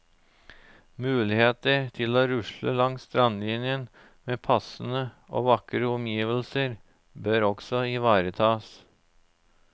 Muligheter til å rusle langs strandlinjen med passende og vakre omgivelser bør også ivaretas.